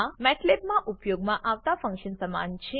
આ મેટલેબમાં ઉપયોગમાં આવતા ફન્કશન સમાન છે